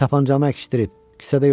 Tapancanı əkişdirib, kisədə yoxdur.